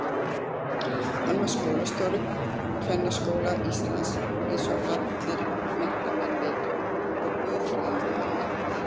Hann var skólastjóri Kennaraskóla Íslands eins og allir menntamenn vita og guðfræðingur að mennt.